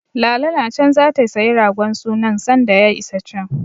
Lala na can zata sayi ragon sunan sanda ya isa can.